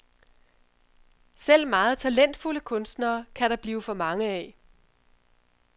Selv meget talentfulde kunstnere kan der blive for mange af.